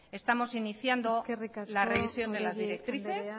estamos iniciando la revisión de las directrices